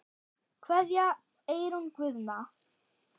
Kveðja, Eyrún Guðna.